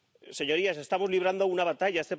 Señorías, estamos librando una batalla.